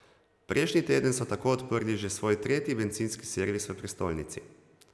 Prejšnji teden so tako odprli že svoj tretji bencinski servis v prestolnici.